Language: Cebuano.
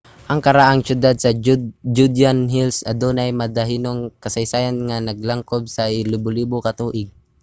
ang karaang siyudad sa judean hills adunay madanihon nga kasaysayan nga naglangkob sa libolibo ka tuig